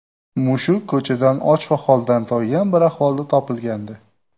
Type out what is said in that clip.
Mushuk ko‘chada och va holdan toygan bir ahvolda topilgandi.